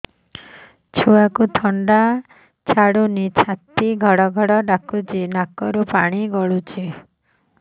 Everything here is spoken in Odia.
ଛୁଆକୁ ଥଣ୍ଡା ଛାଡୁନି ଛାତି ଗଡ୍ ଗଡ୍ ଡାକୁଚି ନାକରୁ ପାଣି ଗଳୁଚି